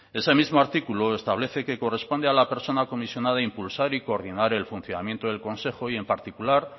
ese mismo artículo establece que corresponde a la persona comisionada impulsar y coordinar el funcionamiento del consejo y en particular